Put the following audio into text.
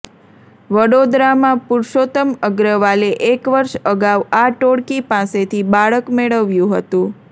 વડોદરામાં પૂરૂષોત્તમ અગ્રવાલે એક વર્ષ અગાઉ આ ટોળકી પાસેથી બાળક મેળવ્યુ હતુ